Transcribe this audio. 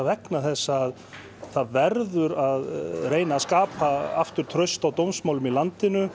vegna þess að það verður að reyna að skapa aftur traust á dómsmálum í landinu